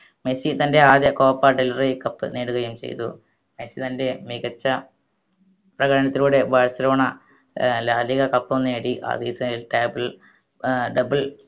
Messi തൻറെ ആദ്യ Copa del Rey cup നേടുകയും ചെയ്തു മെസ്സി തൻറെ മികച്ച പ്രകടനത്തിലൂടെ ബാഴ്‌സലോണ ഏർ ലാ ലിഗ cup ഉം നേടി ആ season ഏർ double